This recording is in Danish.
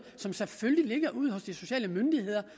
som selvfølgelig ligger ude hos de sociale myndigheder